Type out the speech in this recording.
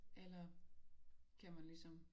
Eller kan man ligesom